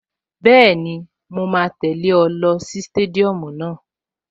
Bẹ́ẹ̀ni, mo máa tẹ̀lẹ́ ọ lọ sí stadium náà